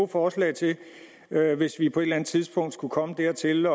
forslag til hvis vi på et eller tidspunkt skulle komme dertil